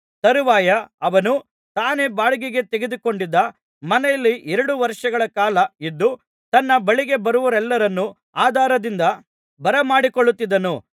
ತರುವಾಯ ಅವನು ತಾನೇ ಬಾಡಿಗೆಗೆ ತೆಗೆದುಕೊಂಡಿದ್ದ ಮನೆಯಲ್ಲಿ ಎರಡು ವರ್ಷಗಳ ಕಾಲ ಇದ್ದು ತನ್ನ ಬಳಿಗೆ ಬರುವವರೆಲ್ಲರನ್ನು ಆದರದಿಂದ ಬರಮಾಡಿಕೊಳ್ಳುತ್ತಿದ್ದನು